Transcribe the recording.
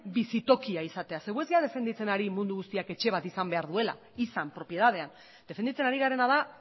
bizitokia izatea zeren gu ez gara defenditzen ari mundu guztiak etxe bat izan behar duela izan propietatean defendatzen ari garena da